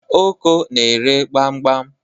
Oko na-ere gbam gbam